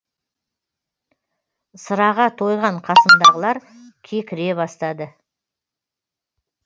сыраға тойған қасымдағылар кекіре бастады